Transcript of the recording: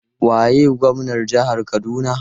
Waye gwamnar jihar Kaduna?